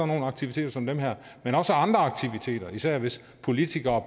nogle aktiviteter som dem her men også af andre aktiviteter især hvis politikere